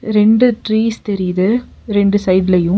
ரெண்டு ட்ரீஸ் தெரியிது. ரெண்டு சைடுலயு .